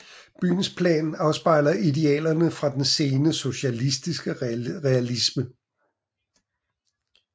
Byens plan afspejler idealerne fra den sene socialistisk realisme